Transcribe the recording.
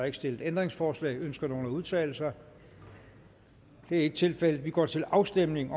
ikke stillet ændringsforslag ønsker nogen at udtale sig det er ikke tilfældet vi går til afstemning